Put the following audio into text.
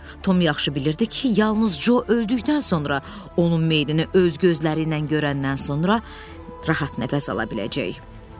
Tom yaxşı bilirdi ki, yalnız Co öldükdən sonra, onun meyidini öz gözləriylə görəndən sonra rahat nəfəs ala biləcək.